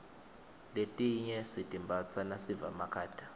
letinye sitimbatsa nasiva makhata